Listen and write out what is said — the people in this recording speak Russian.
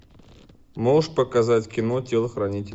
можешь показать кино телохранитель